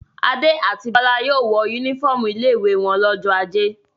Adé àti Bọ́lá yóò wọ únífọ́ọ́mù ilé-ìwé wọn lọ́jọ́ ajé.